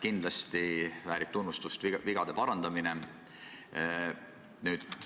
Kindlasti väärib tunnustust vigade parandamine.